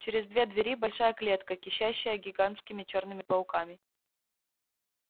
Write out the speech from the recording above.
через две двери большая клетка кишащая гигантскими чёрными пауками